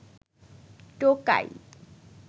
টোকাই